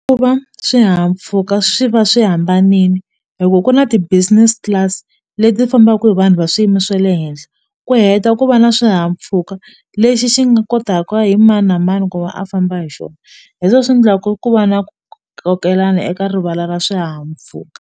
Ku va swihahampfuka swi va swi hambanile loko ku na ti-business class leti fambaka hi vanhu va swiyimo swa le henhla ku heta ku va na swihahampfhuka lexi xi nga kotaka hi mani na mani ku va a famba hi xona hi swo swi endlaka ku va na kokelana eka rivala ra swihahampfhuka.